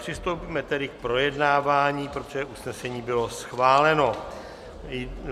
Přistoupíme tedy k projednávání, protože usnesení bylo schváleno.